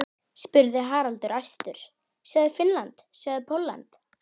SÉRA SIGURÐUR: Magnús landshöfðingi reiðir hátt til höggs.